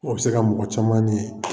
O bɛ se ka mɔgɔ caman